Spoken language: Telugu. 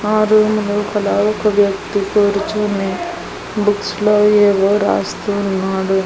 ఆ రూమ్ లోపల ఒక వ్యక్తి కూర్చొని బుక్స్ లో ఏవో రాస్తూ ఉన్నాడు.